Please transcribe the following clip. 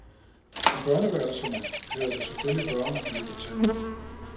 I børneværelserne hører der selvfølgelig børnemøbler til.